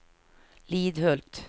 Lidhult